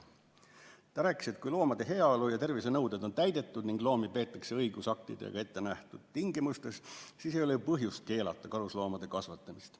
Ta rääkis, et kui loomade heaolu- ja tervisenõuded on täidetud ning loomi peetakse õigusaktidega ettenähtud tingimustes, siis ei ole ju põhjust keelata karusloomade kasvatamist.